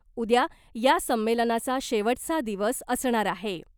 उद्या या संमेलनाचा शेवटचा दिवस असणार आहे .